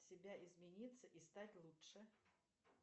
себя измениться и стать лучше